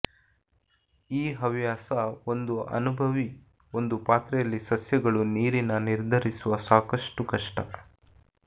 ಈ ಹವ್ಯಾಸ ಒಂದು ಅನನುಭವಿ ಒಂದು ಪಾತ್ರೆಯಲ್ಲಿ ಸಸ್ಯಗಳು ನೀರಿನ ನಿರ್ಧರಿಸುವ ಸಾಕಷ್ಟು ಕಷ್ಟ